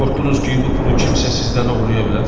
Qorxdunuz ki, bu pulu kimsə sizdən oğurlaya bilər?